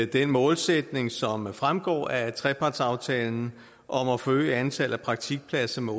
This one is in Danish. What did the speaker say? den målsætning som fremgår af trepartsaftalen om at forøge antallet af praktikpladser med